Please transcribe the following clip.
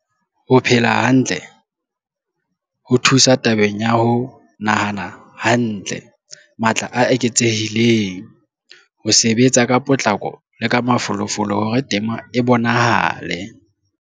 Ho phela hantle ho thusa tabeng ya ho nahana hantle, matla a eketsehileng, ho sebetsa ka potlako le ka mafolofolo hore tema e bonahale.